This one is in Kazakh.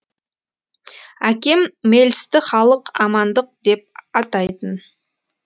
әкем мелсті халық амандық деп атайтын